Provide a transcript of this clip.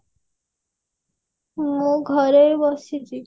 ମୁଁ ଏଇ ଘରେ ବସିଛି